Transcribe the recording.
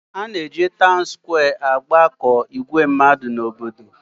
A na-eji taun skwee agbakọ ìgwè mmadụ n'obodo.